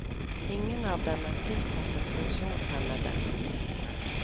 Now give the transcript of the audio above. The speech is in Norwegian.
Ingen av dem er tilpasset funksjonshemmede.